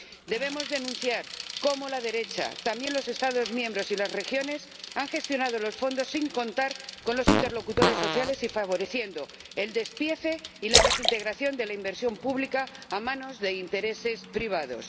Debemos denunciar cómo la derecha, y también los Estados miembros y las regiones, han gestionado los fondos sin contar con los interlocutores sociales y favoreciendo el despiece y la desintegración de la inversión pública a manos de intereses privados.